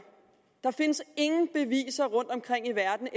der findes ingen beviser rundtomkring i verden